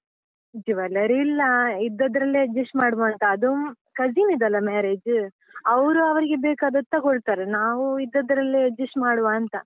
Jewelry ಇಲ್ಲಾ, ಇದ್ದದ್ರಲ್ಲೇ adjust ಮಾಡ್ವಾ ಅಂತ, ಅದು cousin ದಲ್ಲ marriage , ಅವ್ರು ಅವ್ರಿಗೆ ಬೇಕಾದದ್ದು ತಗೊಳ್ತಾರೆ, ನಾವು ಇದ್ದಿದ್ರಲ್ಲೆ adjust ಮಾಡುವಾ ಅಂತ.